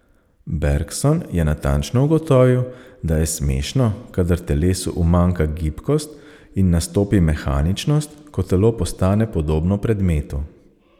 Bergson je natančno ugotovil, da je smešno, kadar telesu umanjka gibkost in nastopi mehaničnost, ko telo postane podobno predmetu.